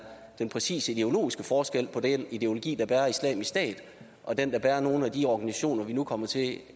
den præcise ideologiske forskel på den ideologi der bærer islamisk stat og den der bærer nogle af de organisationer vi nu kommer til